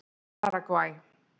Paragvæ